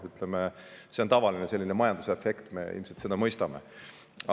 Ütleme, see on tavaline selline majandusefekt, mida me ilmselt mõistame.